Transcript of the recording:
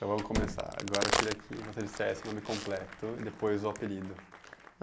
Então vamos começar agora, eu queria que você dissesse o nome completo e depois o apelido.